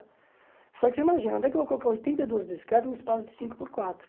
Só que você imagina, onde é que eu vou colocar oitenta e duas bicicletas num espaço de cinco por quatro?